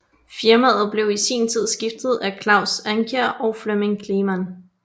Firmaet blev i sin tid stiftet af Claus Ankjær og Flemming Kleemann